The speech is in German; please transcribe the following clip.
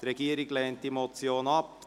Die Regierung lehnt die Motion ab.